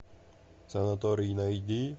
санаторий найди